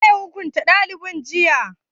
Waye ya hukunta dalibin jiya?